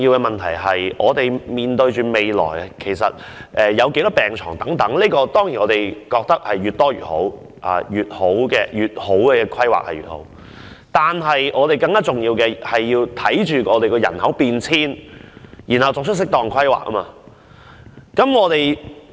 面對未來有多少病床的問題，當然越多越好，規劃得越好，情況便越好，但更重要的是，要因應人口變遷作出適當規劃。